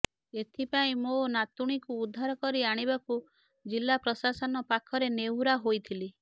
ଏଥିପାଇଁ ମୋ ନାତୁଣୀକୁ ଉଦ୍ଧାର କରି ଆଣିବାକୁ ଜିଲ୍ଲା ପ୍ରଶାସନ ପାଖରେ ନେହୁରା ହୋଇଥିଲି